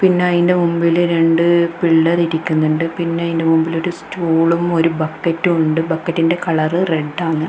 പിന്നെ അയിൻ്റെ മുമ്പിൽ രണ്ട് പിള്ളേര് ഇരിക്കുന്നുണ്ട് പിന്നെ അയിൻ്റെ മുമ്പിൽ ഒരു സ്റ്റൂളും ഒരു ബക്കറ്റും ഉണ്ട് ബക്കറ്റിന്റെ കളറ് റെഡാണ് .